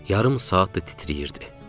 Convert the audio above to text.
Yarım saatdır titrəyirdi.